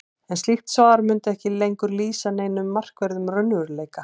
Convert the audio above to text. en slíkt svar mundi ekki lengur lýsa neinum markverðum raunveruleika